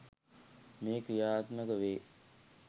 මෙය ක්‍රියාත්මක වේ.